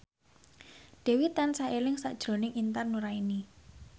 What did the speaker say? Dewi tansah eling sakjroning Intan Nuraini